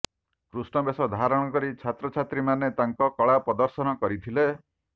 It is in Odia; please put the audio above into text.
କୃଷ୍ଣବେଶ ଧାରଣ କରି ଛାତ୍ରଛାତ୍ରୀମାନେ ତାଙ୍କ କଳା ପଦର୍ଶନ କରିଥିଲେ